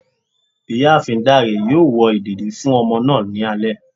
Ìyáàfín dáré yóò wò ìdédi fún ọmọ náá ní alé